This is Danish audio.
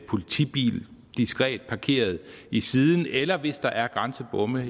politibil diskret parkeret i siden eller hvis der er grænsebomme